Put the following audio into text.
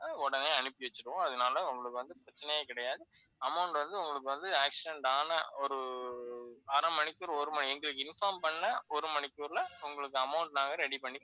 உடனே அனுப்பி வச்சுருவோம். அதனால உங்களுக்கு வந்து பிரச்சனையே கிடையாது. amount வந்து, உங்களுக்கு வந்து accident ஆன ஒரு அரை மணிக்கு ஒரு மணி எங்களுக்கு inform பண்ண ஒரு மணிக்குள்ள உங்களுக்கு amount நாங்க ready பண்ணி